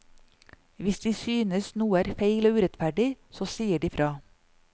Hvis de synes noe er feil og urettferdig, så sier de fra.